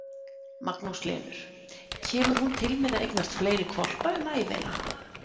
Magnús Hlynur: Kemur hún til með að eignast fleiri hvolpa um ævina?